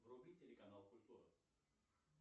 вруби телеканал культура